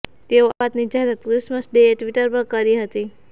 તેણે આ વાતની જાહેરાત ક્રિસમસ ડેએ ટ્વિટર પર કરી હતી